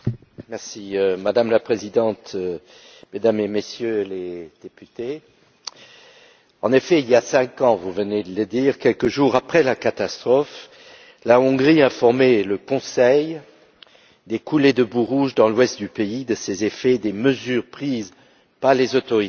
Madame la Présidente, mesdames et messieurs les députés, en effet, il y a cinq ans, vous venez de le dire, quelques jours après la catastrophe, la Hongrie a informé le Conseil, des coulées de boues rouges dans l'ouest du pays, de leurs effets, des mesures prises par les autorités hongroises